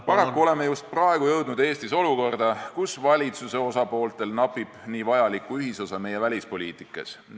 Paraku oleme just praegu jõudnud Eestis olukorda, kus valitsuse osapooltel napib niivõrd vajalikku ühisosa meie välispoliitikas.